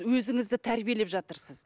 өзіңізді тәрбиелеп жатырсыз